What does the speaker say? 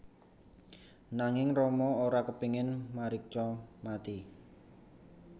Nanging Rama ora kepingin Marica mati